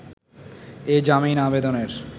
এ জামিন আবেদনের